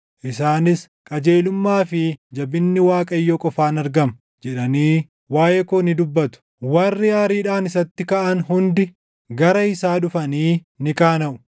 Isaanis, ‘Qajeelummaa fi jabinni Waaqayyo qofaan argama’ jedhanii waaʼee koo ni dubbatu.” Warri aariidhaan isatti kaʼan hundi, gara isaa dhufanii ni qaanaʼu.